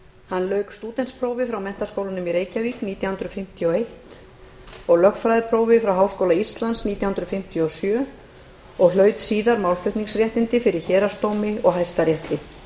hann lauk stúdentsprófi frá mr nítján hundruð fimmtíu og eins og lögfræðiprófi frá háskóla íslands nítján hundruð fimmtíu og sjö og hlaut síðar málflutningsréttindi fyrir héraðsdómi og hæstarétti